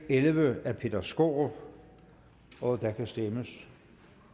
elleve af peter skaarup og der kan stemmes